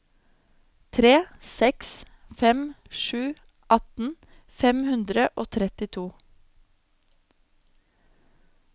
tre seks fem sju atten fem hundre og trettito